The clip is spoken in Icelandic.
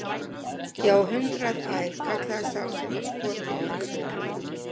Ég á hundrað ær, kallaði sá sem var skotinn í öxlina.